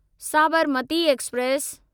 Sabarmati express